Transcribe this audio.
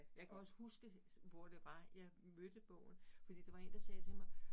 Jeg kan også huske, hvor det var jeg mødte bogen fordi der var én, der sagde til mig